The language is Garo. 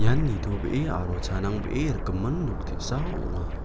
ian nitobee aro chanangbee rikgimin nok te·sa ong·a.